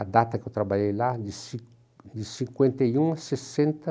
A data que eu trabalhei lá, de ci cinquenta e um a sessenta